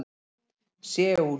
Seúl